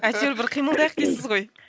әйтеуір бір қимылдайық дейсіз ғой